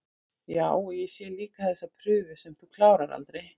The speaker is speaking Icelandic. Já, og ég sé líka þessa prufu sem þú klárar aldrei